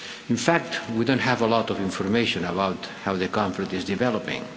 In fact, we don't have a lot of information about how the conflict is developing.